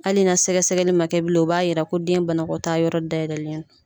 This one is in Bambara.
Hali na sɛgɛsɛgɛli ma kɛ bilen, o b'a yira ko den banakɔtaa yɔrɔ da yɛlɛlen don.